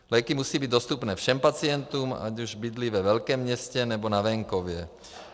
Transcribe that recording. Léky musí být dostupné všem pacientům, ať už bydlí ve velkém městě, nebo na venkově.